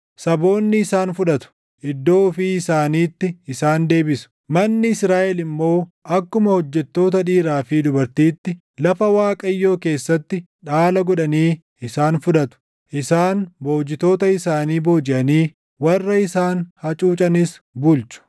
Saboonni isaan fudhatu; iddoo ofii isaaniitti isaan deebisu. Manni Israaʼel immoo akkuma hojjettoota dhiiraa fi dubartiitti lafa Waaqayyoo keessatti dhaala godhanii isaan fudhatu. Isaan boojitoota isaanii boojiʼanii warra isaan hacuucanis bulchu.